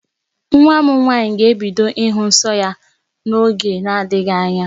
Nwa m nwaanyị ga-ebido ịhụ nsọ ya n'oge na-adịghị anya.